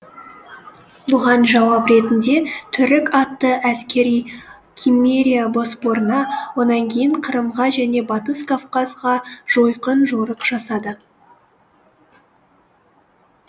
бұған жауап ретінде түрік атты әскери киммерия боспорына онан кейін қырымға және батыс кавказға жойқын жорық жасады